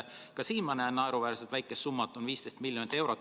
Ka siin näen ma naeruväärselt väikest summat, 15 miljonit eurot.